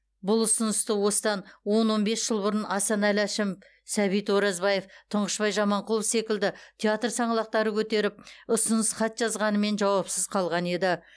бұл ұсынысты осыдан он он бес жыл бұрын асанәлі әшімов сәбит оразбаев тұңғышбай жаманқұлов секілді театр саңлақтары көтеріп ұсыныс хат жазғанымен жауапсыз қалған еді